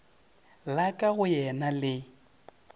la ka go yena le